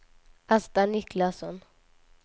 Asta Niklasson